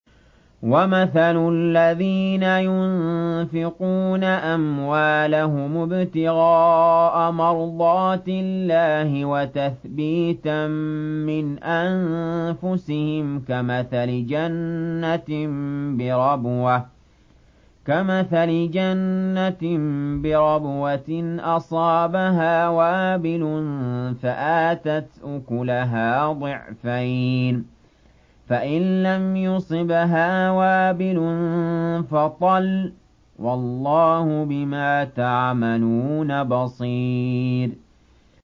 وَمَثَلُ الَّذِينَ يُنفِقُونَ أَمْوَالَهُمُ ابْتِغَاءَ مَرْضَاتِ اللَّهِ وَتَثْبِيتًا مِّنْ أَنفُسِهِمْ كَمَثَلِ جَنَّةٍ بِرَبْوَةٍ أَصَابَهَا وَابِلٌ فَآتَتْ أُكُلَهَا ضِعْفَيْنِ فَإِن لَّمْ يُصِبْهَا وَابِلٌ فَطَلٌّ ۗ وَاللَّهُ بِمَا تَعْمَلُونَ بَصِيرٌ